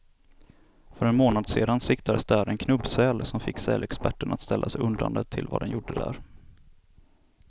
För en månad sedan siktades där en knubbsäl, som fick sälexperterna att ställa sig undrande till vad den gjorde där.